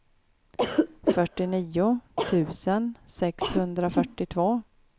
fyrtionio tusen sexhundrafyrtiotvå